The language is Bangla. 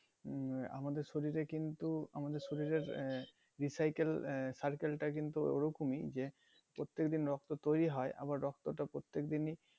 উম আহ আমাদের শরীরে কিন্তু আমাদের শরীরের আহ recycle আহ circle টা কিন্তু ওরকমই যে প্রত্যেকদিন রক্ত তৈরি হয় আবার রক্তটা প্রত্যেক দিনই